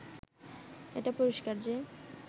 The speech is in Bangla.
এটা পরিষ্কার যে